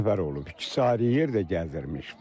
İkisi ayrı yerdə gəzirmiş.